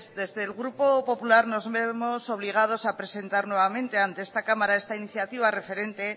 desde el grupo popular nos vemos obligados a presentar nuevamente ante esta cámara esta iniciativa referente